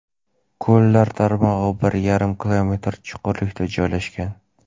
Ko‘llar tarmog‘i bir yarim kilometr chuqurlikda joylashgan.